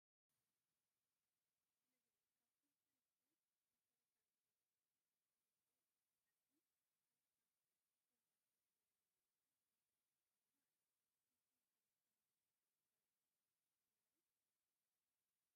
ምግቢ፡- ካብቶም ሰለስተ መሰረታዊ ድልየታት ወዲ ሰብ ሓደ ምግቢ እዩ፡፡ ኣብዚ ካብ ኣብ ሱፐርማርኬት ዝሽየጡ ምግብታት ማኮሮኒ ተቐሪቡ ኣሎ፡፡ ንስኹም ከ መኮሮኒ ዶ ሰሪሐኹም ትበልዑ?